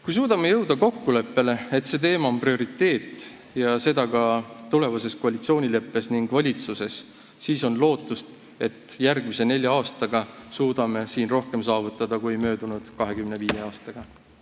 Kui suudame jõuda kokkuleppele, et see teema on prioriteet ja seda ka tulevases koalitsioonileppes ning valitsuses, siis on lootust, et järgmise nelja aastaga suudame siin rohkem saavutada kui möödunud 25 aastaga.